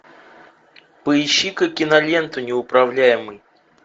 поищи ка киноленту неуправляемый